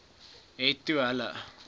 het toe hulle